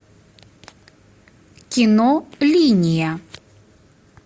кино линия